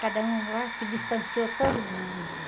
Cada um lá se distanciou todo mundo.